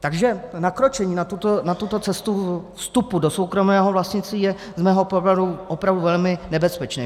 Takže nakročení na tuto cestu vstupu do soukromého vlastnictví je z mého pohledu opravdu velmi nebezpečné.